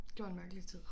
Det var en mærkelig tid